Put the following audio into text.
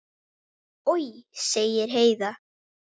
Oj, sagði Heiða.